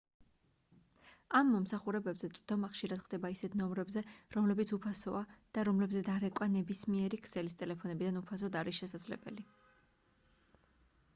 ამ მომსახურებებზე წვდომა ხშირად ხდება ისეთ ნომრებზე რომლებიც უფასოა და რომლებზეც დარეკვა ნებისმიერი ქსელის ტელეფონებიდან უფასოდ არის შესაძლებელი